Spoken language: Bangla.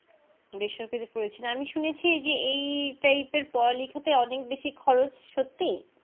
বেসরকারি পড়েছেন আমি শুনেছি যে এই Type এর পড়ালেখাতে অনেক বেশি খরচ সত্যি